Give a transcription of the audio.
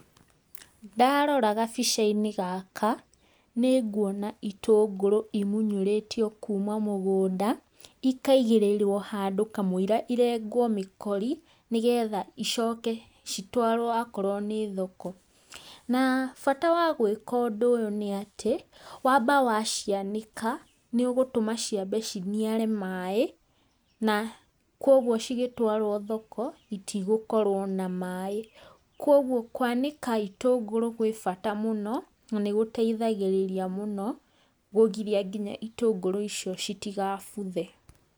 Ndarora gabica-inĩ gaka, nĩ nguona itũngũrũ imunyũrĩtio kuuma mũgũnda, ikaigĩrĩrwo handũ kamũira irengwo mĩkori, nĩgetha icoke citwarwo akorwo nĩ thoko, na bata wa gwĩka ũndũ ũyũ nĩ atĩ, waamba wa cianĩka nĩ ũgũtũma ciambe ciniare maĩ, na kwoguo cigĩtwarwo thoko, itigũkorwo na maĩ, kwoguo kwanĩka itũngũrũ gwĩ bata mũno, na nĩgũteithagĩrĩria mũno, kũgiria nginya itũngũrũ icio itigabuthe.